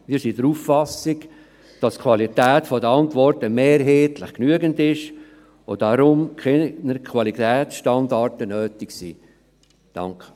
Wir sind der Auffassung, dass die Qualität der Antworten mehrheitlich genügend ist und darum keine Qualitätsstandards nötig sind.